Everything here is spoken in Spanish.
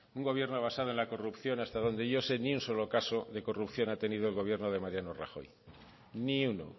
un gobierno basado en la corrupción hasta donde yo sé ni un solo caso de corrupción ha tenido el gobierno de mariano rajoy ni uno